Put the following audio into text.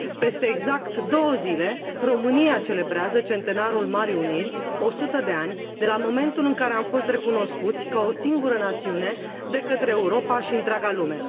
Peste exact două zile, România celebrează Centenarul Marii Uniri, 100 de ani de la momentul în care am fost recunoscuți ca o singură națiune de către Europa și întreaga lume.